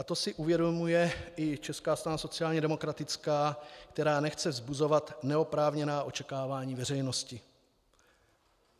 A to si uvědomuje i Česká strana sociálně demokratická, která nechce vzbuzovat neoprávněná očekávání veřejnosti.